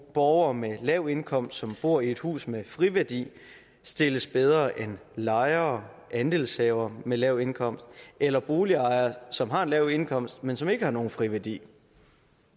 borgere med lav indkomst som bor i et hus med friværdi stilles bedre end lejere andelshavere med lav indkomst eller boligejere som har en lav indkomst men som ikke har nogen friværdi